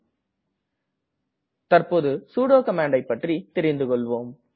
நாம் தற்ப்போது சுடோ கமாண்ட்டை பற்றி தெரிந்து கொள்வோம்